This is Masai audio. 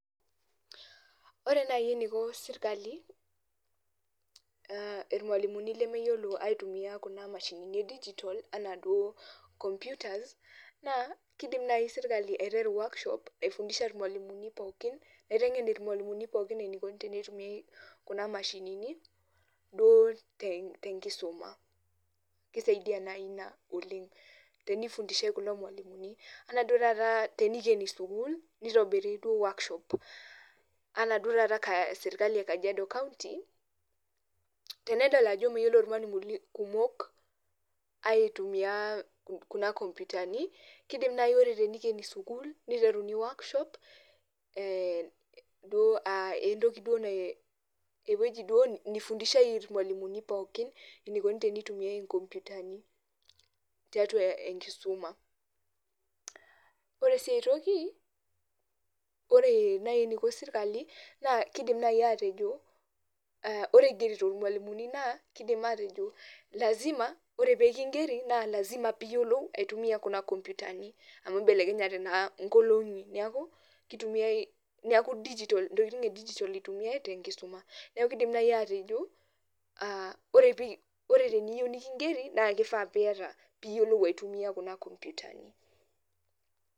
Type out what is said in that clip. Ore nai eniko sirkali irmalimuni lemeyiolo aitumia kuna mashinini edijitol anaa duo computers ,naa kidim nai sirkali aiteru workshop naifundishai irmalimuni pookin, naiteng'en irmalimuni pookin enikoni tenitumiai kuna mashinini, duo tenkisuma. Kisaidia nai ina oleng. Tenifundishai kulo malimuni. Enaa duo taata tenikeni sukuul, nitobiri duo workshop ,anaa duo taata serkali e Kajiado county, tenedol ajo meyiolo irmalimuni kumok aitumia kuna kompitani, kidim nai ore tenikeni sukuul, niteruni workshop, duo ah entoki ewueji duo nifundishai irmalimuni pookin enikoni tenitumiai inkompitani, tiatua enkisuma. Ore si si toki, ore nai eniko sirkali, naa kidim nai atejo, ore igerito irmalimuni naa, kidim atejo lazima ore pikigeri, na lazima piyiolou aitumia kuna kompitani, amu belekenyate naa nkolong'i neeku, kitumiai neeku dijitol intokiting edijitol itumiai tenkisuma. Neeku kidim nai atejo, ore teniyieu nikigeri, na kifaa piata piyiolou aitumia kuna kompitani.